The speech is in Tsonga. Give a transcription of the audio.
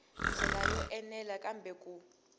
ndlela yo enela kambe ku